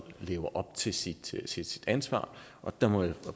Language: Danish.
lever op til sit sit ansvar og der må jeg